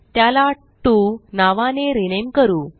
त्याला टीओ नावाने रिनेम करू